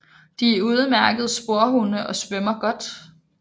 De er udemærkede sporhunde og svømmer godt